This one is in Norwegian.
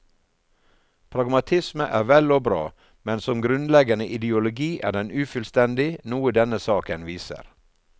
Pragmatisme er vel og bra, men som grunnleggende ideologi er den ufullstendig, noe denne saken viser.